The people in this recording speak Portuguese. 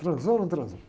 Transou ou não transou?